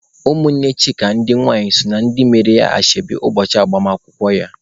Ụmụnne Chika ndị nwai so na ndị mere ya ashebi ụbọchị agbamakwụkwọ ya..